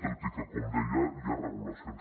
tot i que com deia hi ha regulacions